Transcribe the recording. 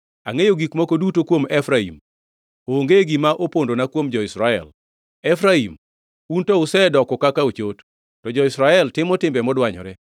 Angʼeyo gik moko duto kuom Efraim; onge gima opondona kuom jo-Israel. Efraim, un to usedoko kaka ochot; to jo-Israel timo timbe modwanyore.